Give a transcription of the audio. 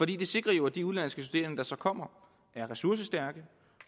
det sikrer jo at de udenlandske studerende der så kommer er ressourcestærke